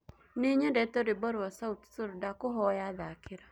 nie nyendete rwĩmbo rwa sauti sol ndakũhoya thakĩra